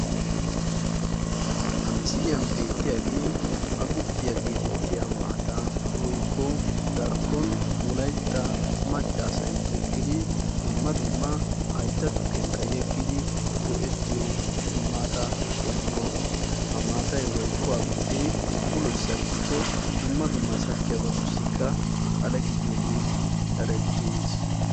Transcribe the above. Ha misiliyan beettiyagee agguppiya gettettiya maattaa woykko darkkon wolaytta macca asay tokkidi dumma dumma haytta tukkiyankka eggidi go'ettiyo maataa qommuwa. Ha maatay woykko agguppe uloy sakkikko dumma dumma sakkiyabatussikka xale gidiyogee erettiis.